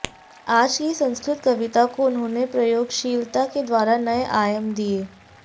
आज की संस्कृत कविता को उन्होंने प्रयोगशीलता के द्वारा नए आयाम दिए